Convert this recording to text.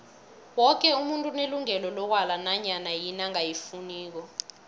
woke umuntu unelungelo lokwala nanyana yini angayifuniko